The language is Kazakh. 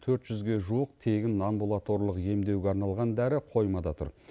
төрт жүзге жуық тегін амбулаторлық емдеуге арналған дәрі қоймада тұр